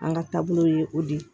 An ka taabolo ye o de ye